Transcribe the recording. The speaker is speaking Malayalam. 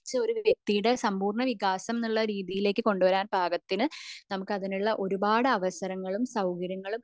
ചാ ഒരു വ്യക്തിയുടെ സമ്പൂർണ എന്ന രീതിയിലേക്ക് പാകത്തിന് നമുക്ക് അതിനുള്ള ഒരുപാട് അവസരങ്ങളും സൗകര്യങ്ങളും